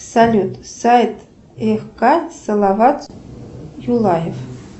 салют сайт хк салават юлаев